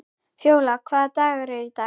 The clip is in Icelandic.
Fjólar, hvaða dagur er í dag?